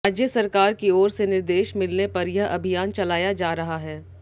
राज्य सरकार की ओर से निर्देश मिलने पर यह अभियान चलाया जा रहा है